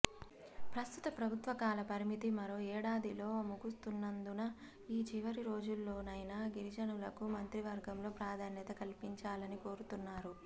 ప్రస్తుత ప్రభుత్వ కాల పరిమితి మరో ఏడాదిలో ముగుస్తున్నందున ఈ చివరి రోజుల్లోనైనా గిరిజనులకు మంత్రివర్గంలో ప్రాధాన్యత కల్పించాలని కోరుతున్నారు